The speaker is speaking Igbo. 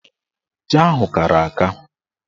Ji ahụ kara aka.